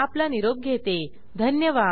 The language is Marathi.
सहभागासाठी धन्यवाद